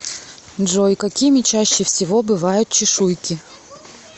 джой какими чаще всего бывают чешуйки